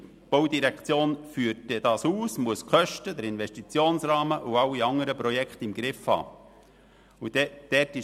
Die BVE führt das Vorhaben aus und muss die Kosten, den Investitionsrahmen und alle anderen Projekte im Griff haben.